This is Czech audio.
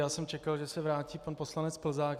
Já jsem čekal, že se vrátí pan poslanec Plzák.